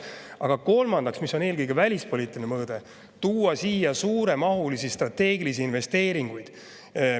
Aga kolmandaks, mis on eelkõige välispoliitiline mõõde – tuua siia suuremahulisi strateegilisi investeeringuid.